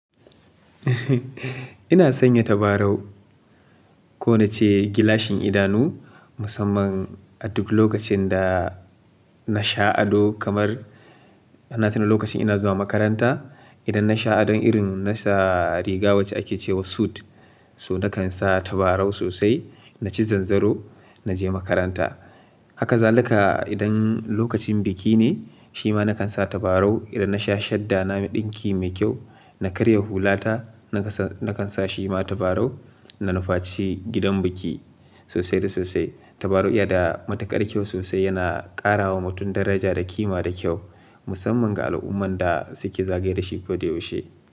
Ina sanya tabarau ko nace gilashin idanu musamman a duk lokacin da na sha ado kamar ina tuna lokacin ina zuwa makaranta. Idan na sha ado irin na sa riga wacce ake cewa suit so nakan sa tabarau sosai, na ci zanzaro na je makaranta. Haka zaluka idan lokacin biki ne shima nakan sa tabarau idan na sha shadda na me ɗinki mai kyau, na karya hulata nakan sa shima tabarau na nufaci gidan biki sosai da sosai. Tabarau iya da matukar kyau sosai yana ƙarawa mutum daraja da kima da kyau musamman ga al'umman da suke zagaye dashi koyaushe.